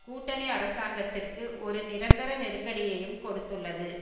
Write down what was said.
கூட்டணி அரசாங்கத்திற்கு ஒரு நிரந்தர நெருக்கடியையும் கொடுத்துள்ளது